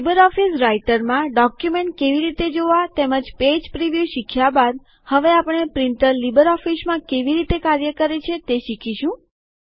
LibreOffice રાઈટરમાં document કેવી રીતે જોવા તેમજ પેજ પ્રીવ્યુ શીખ્યા બાદ હવે આપણે પ્રિન્ટર લીબરઓફીસમાં કેવી રીતે કાર્ય કરે છે તે શીખીશું